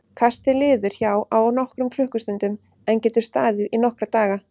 Kastið liður hjá á nokkrum klukkustundum en getur staðið í nokkra daga.